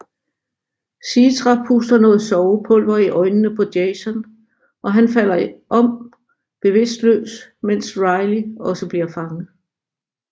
Citra puster noget sovepulver i øjnene på Jason og han falder om bevidstløst mens Riley også bliver fanget